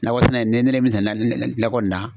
Nakɔ sɛnɛ ne ne ne min sɛnɛ na nɔkɔ in na.